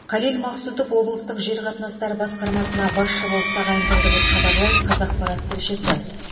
қалел мақсұтов облыстық жер қатынастары басқармасына басшы болып тағайындалды деп хабарлайды қазақпарат тілшісі